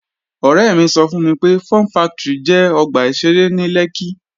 Ọ̀rẹ́ mi sọ fún mi pé, Fun factory jẹ́ ọgbà ìṣeré ní Lẹ́kkí